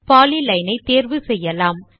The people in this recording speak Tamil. பாலிலைன் ஐத் தேர்வு செய்யலாம்